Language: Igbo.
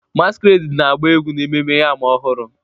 Masquerade na-agba egwu na Ememme Yam Ọhụrụ